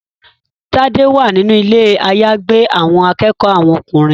Tade wá nínú Ilé àyágbé àwọn akẹ́kọ̀ọ́ àwọn ọkùnrin.